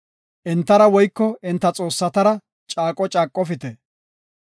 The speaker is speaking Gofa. Entara woyko enta xoossatara caaqo oothopite.